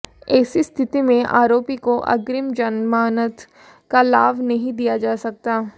ऐसी स्थिति में आरोपी को अग्रिम जमानत का लाभ नहीं दिया जा सकता